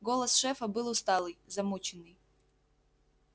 голос шефа был усталый замученный